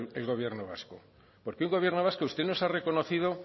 el gobierno vasco porque un gobierno vasco usted nos ha reconocido